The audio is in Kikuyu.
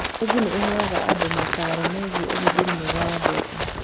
Bengi nĩheaga andũ mataaro megiĩ ũhũthĩri mwega wa mbeca